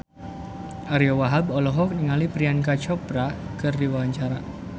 Ariyo Wahab olohok ningali Priyanka Chopra keur diwawancara